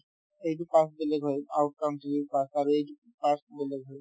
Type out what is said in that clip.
to সেইটো pass বেলেগ হয় pass আৰু এইটো pass বেলেগ হয়